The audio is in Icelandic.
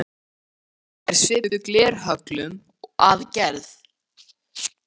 Eldtinna er svipuð glerhöllum að gerð.